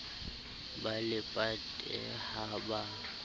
ba le pate ha ba